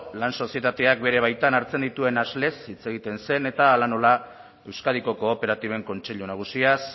lan sozietateak bere baitan hartzen dituen hitz egiten zen eta hala nola euskadiko kooperatiben kontseilu nagusiaz